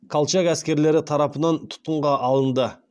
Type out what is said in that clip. колчак әскерлері тарапынан тұтқынға алынды